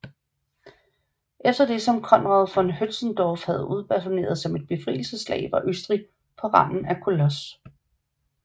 Efter det som Conrad von Hötzendorf havde udbasuneret som et befrielsesslag var Østrig på randen af kollaps